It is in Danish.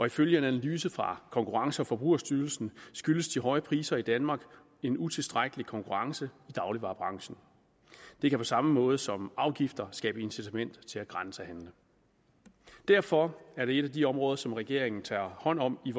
ifølge en analyse fra konkurrence og forbrugerstyrelsen skyldes de høje priser i danmark en utilstrækkelig konkurrence i dagligvarebranchen det kan på samme måde som afgifter skabe incitament til at grænsehandle derfor er det et af de områder som regeringen tager hånd om i